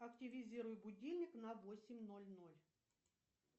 активизируй будильник на восемь ноль ноль